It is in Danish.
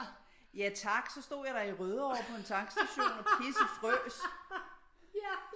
Ja tak så stod jeg da i Rødovre på en tankstation og pissefrøs